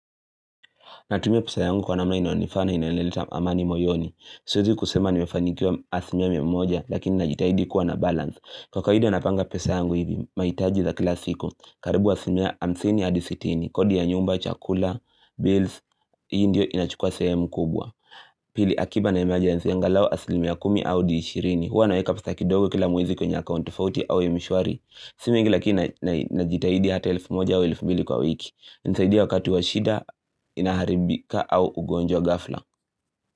Natumia pesa yangu kwa namna inaonifaa na inaenileta amani moyoni. Siezi kusema nimefanikiwa asimia miamoja lakini najitahidi kuwa na balance. Kwa kawaida napanga pesa yangu hivi, maitaji za kila siku. Karibu asimia hamsini adi sitini, kodi ya nyumba, chakula, bills, hii ndio inachukua seemu kubwa. Pili akiba na emergency angalau asilimia kumi au di ishirini. Huwa naweka pesa kidogo kila mwezi kwenye account tofauti au mshwari. Simi ingi lakini najitahidi hata elfu moja au elfu mbili kwa wiki. Nisaidia wakati wa shida inaharibika au ugonjwa ghafla.